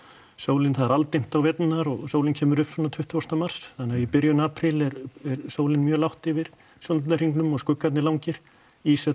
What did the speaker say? sólin það er aldimmt á veturna og sólin kemur upp svona tuttugasta mars þannig að í byrjun apríl er sólin mjög lágt yfir sjóndeildarhringnum og skuggarnir langir íshellan